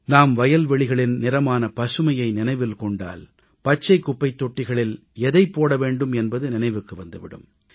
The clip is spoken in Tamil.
நாம் வயல்வெளிகளின் நிறமான பசுமையை நினைவில் கொண்டால் பச்சைக் குப்பைத் தொட்டிகளில் எதைப் போட வேண்டும் என்பது நினைவுக்கு வந்து விடும்